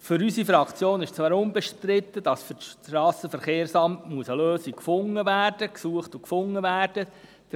Für unsere Fraktion ist unbestritten, dass für das Strassenverkehrsamt eine Lösung gesucht und gefunden werden muss.